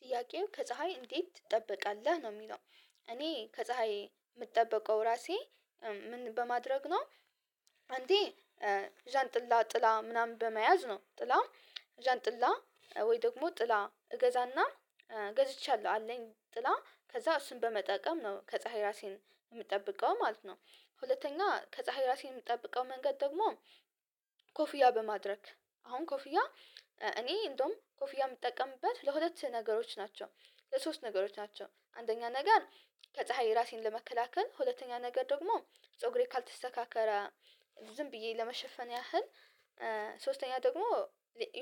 ጥያቄው ከፀሀይ እንዴት ትጠብቃለህ ነው የሚለው? እኔ ከፀሀይ የምጠብቀው ራሴ ምን በማድረግ ነው እንዴ ዣንጥላ ጥላ ምናምን በመያዝ ነው ጥላ ዣንጥላ ወይ ደግሞ ጥላ እገዛና ገዝቻለሁ አለኝ ጥላ ከዛ እሱን በመጠቀም ነው ከፀሀይ ራሴን የምጠብቀው ማለት ነው። ሁለተኛ ከፀሀይ ራሴን የምጠብቀው መንገድ ደግሞ ኮፍያ በማድረግ አሁን ኮፍያ እኔ እንደውም ኮፍያ የምጠቀምበት ለሁለት ነገሮች ናቸው ለሶስት ነገሮች ናቸው አንደኛ ነገር ከፀሀይ ራሴን ለመከላከል ሁለተኛ ነገር ደግሞ ፀጉሬ ካልተሰካከለ ዝም ብዬ ለመሸፈን ያህል ሶስተኛ ደግሞ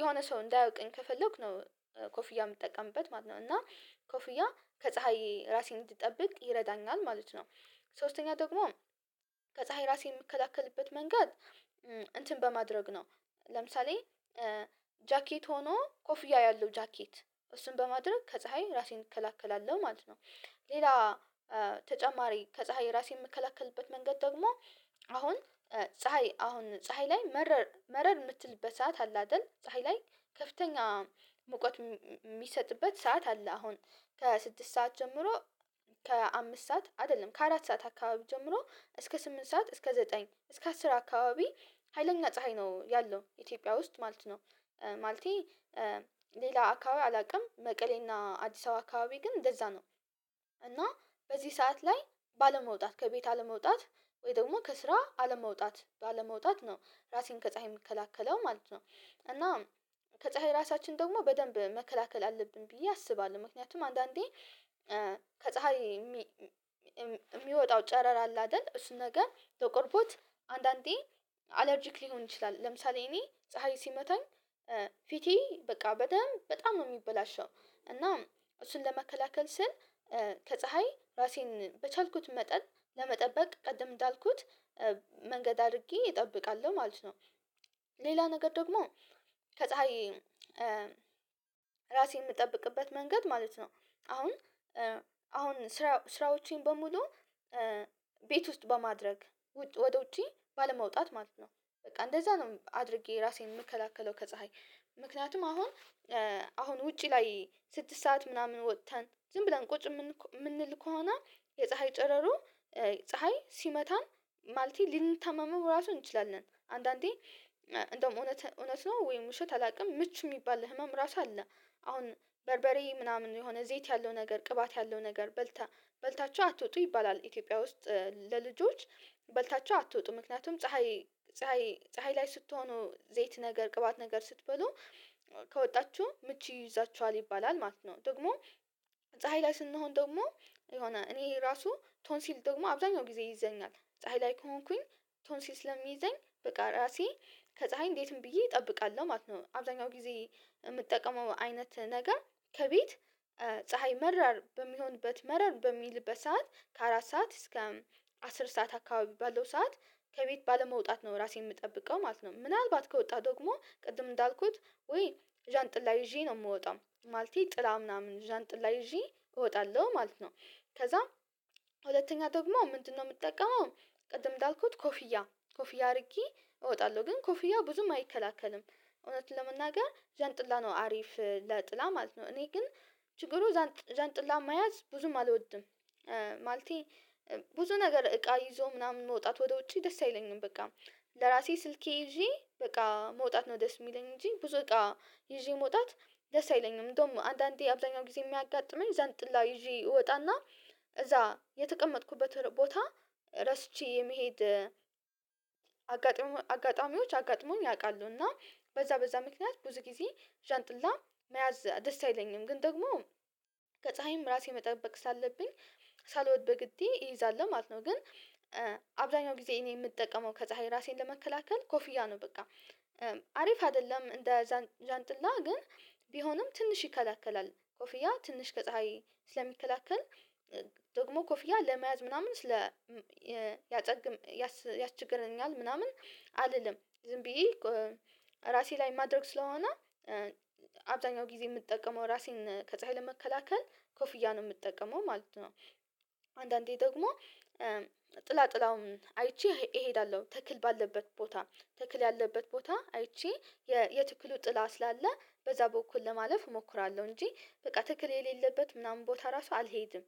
የሆነ ሰው እንዳያውቅኝ ከፈለኩ ነው ኮፍያ የምጠቀምበት ማለት ነው እና ኮፍያ ከፀሀይ ራሴን እንድጠብቅ ይረዳኛል ማለት ነው። ሶስተኛ ደግሞ ከፀሀይ ራሴ የምከላከልበት መንገድ እንትን በማድረግ ነው ለምሳሌ ጃኬት ሆኖ ኮፍያ ያለው ጃኬት እሱን በማድረግ ከፀሀይ ራሴን እከላከላለሁ ማለት ነው። ሌላ ተጨማሪ ከፀሀይ ራሴን የምከላከልበት መንገድ ደግሞ አሁን ፀሀይ አሁን ፀሀይ ላይ መረር መረር የምትልበት ሰዓት አለ አይደል ፀሀይ ላይ ከፍተኛ ሙቀት የሚሰጥበት ሰዓት አለ አሁን ከስድስት ሰዓት ጀምሮ ከአምስት ሰዓት አይደለም ከአራት ሰዓት አካባቢ ጀምሮ እስከ ስምንት ሰዓት እስከ ዘጠኝ እስከ አስር አካባቢ ሀይለኛ ፀሀይ ነው ያለው ኢትዮጵያ ውስጥ ማለት ነው። ማለቴ ሌላ አካባቢ አላውቅም መቀሌና አዲስ አበባ አካባቢ ግን እንደዛ ነው እና በዚህ ሰዓት ላይ ባለመውጣት ከቤት አለመውጣት ወይ ደግሞ ከስራ አለመውጣት ባለመውጣት ነው ራሴን ከፀሀይ የምከላከለው ማለት ነው። እና ከፀሀይ ራሳችን ደግሞ በደንብ መከላከል አለብን ብዬ አስባለሁ ምክንያቱም አንዳንዴ ከፀሀይ የሚወጣው ጨረር አለ አይደል እሱን ነገር ተቀርቦት አንዳንዴ አለርጂክ ሊሆን ይችላል ለምሳሌ እኔ ፀሀይ ሲመታኝ ፊቴ በቃ በደንብ በጣም ነው የሚበላሸው እና እሱን ለመከላከል ስል ከፀሀይ ራሴን በቻልኩት መጠን ለመጠበቅ ቅድም እንዳልኩት መንገድ አድርጌ እጠብቃለሁ ማለት ነው። ሌላ ነገር ደግሞ ከፀሀይ ራሴን የምጠብቅበት መንገድ ማለት ነው አሁን አሁን ስራ ስራዎቼን በሙሉ ቤት ውስጥ በማድረግ ወደ ውጪ ባለመውጣት ማለት ነው። በቃ እንደዛ ነው አድርጌ ራሴን የምከለከለው ከፀሀይ ምክንያቱም አሁን አሁን ውጪ ላይ ስድስት ሰዓት ምናምን ወጥተን ዝም ብለን ቁጭ የምንል ከሆነ የፀሀይ ጨረሩ ፀሀይ ሲመታን ማለቴ ልንተማመመው ራሱን እንችላለን አንዳንዴ እንደውም እውነት እውነት ነው ወይም ውሸት አላውቅም ምች የሚባል ህመም ራሱ አለ። አሁን በርበሬ ምናምን የሆነ ዘይት ያለው ነገር ቅባት ያለው ነገር በልታ በልታቸሁ አትወጡ ይባላል ኢትዮጵያ ውስጥ ለልጆች በልታቸሁ አትወጡ ምክንያቱም ፀሀይ ፀሀይ ላይ ስትሆኑ ዘይት ነገር ቅባት ነገር ስትበሉ ከወጣችሁ ምቹ ይይዛችኋል ይባላል ማለት ነው። ደግሞ ፀሀይ ላይ ስንሆን ደግሞ የሆነ እኔ ራሱ ቶን ሲል ደግሞ አብዛኛው ጊዜ ይዘኛል ፀሀይ ላይ ከሆንኩኝ ቶን ሲል ስለሚይዘኝ በቃ ራሴ ከፀሀይ እንዴትም ብዬ እጠብቃለሁ ማለት ነው። አብዛኛው ጊዜ የምትጠቀመው አይነት ነገር ከቤት ፀሀይ መራር በሚሆንበት መራር በሚልበት በሰአት ከአራት ሰዓት እስከ አስር ሰዓት አካባቢ ባለው ሰዓት ከቤት ባለመውጣት ነው ራሴን የምጠብቀው ማለት ነው። ምናልባት ከወጣህ ደግሞ ቅድም እንዳልኩት ወይ ዣንጥላ ይዤ ነው የምወጣው ማለቴ ጥላ ምናምን ዣንጥላ ይዤ እወጣለሁ ማለት ነው። ከዛ ሁለተኛ ደግሞ ምንድነው የምጠቀመው? ቅድም እንዳልኩት ኮፍያ ኮፍያ አድርጌ እወጣለሁ ግን ኮፍያ ብዙም አይከላከልም እውነት ለመናገር ዣንጥላ ነው አሪፍ ለጥላ ማለት ነው እኔ ግን ችግሩ ዣንጥላ መያዝ ብዙም አልወድም። ማለቴ ብዙ ነገር እቃ ይዞ ምናምን መውጣት ወደ ውጪ ደስ አይለኝም በቃ ለራሴ ስልኬ ይዤ በቃ መውጣት ነው ደስ የሚለኝ እንጂ ብዙ በቃ ይዤ መውጣት ለሳይለኝ ነው እንደውም አንዳንዴ አብዛኛው ጊዜ የሚያጋጥመኝ ዘንጥላ ይዤ እወጣና እዛ የተቀመጥኩበት ቦታ ረስቺ የመሄድ አጋጣሚዎች አጋጥሞኝ ያቃሉ እና በዛ በዛ ምክንያት ብዙ ጊዜ ዣንጥላ መያዝ ደስ አይለኝም ግን ደግሞ ከፀሀይም ራሴ መጠበቅ ሳለብኝ ሳልወድ በግዴ እይዛለሁ ማለት ነው። ግን አብዛኛው ጊዜ እኔ የምጠቀመው ከፀሀይ ራሴን ለመከላከል ኮፍያ ነው በቃ አሪፍ አይደለም እንደ ዣንጥላ ግን ቢሆንም ትንሽ ይከላከላል ኮፍያ ትንሽ ከፀሀይ ስለሚከላከል ደግሞ ኮፍያ ለመያዝ ምናምን ስለ ያጨግም ያስቸግረኛል ምናምን አልልም ዝም ብዬ ራሴ ላይ ማድረግ ስለሆነ አብዛኛው ጊዜ የምትጠቀመው ራሴን ከፀሀይ ለመከላከል ኮፍያ ነው የምጠቀመው ማለት ነው። አንዳንዴ ደግሞ ጥላ ጥላውን አይቼ እሄዳለሁ ተክል ባለበት ቦታ ተክል ያለበት ቦታ አይቼ የትክል ጥላ ስላለ በዛ በኩል ለማለፍ እሞክራለሁ እንጂ በቃ ተክል የሌለበት ምናምን ቦታ ራሱ አልሄድም።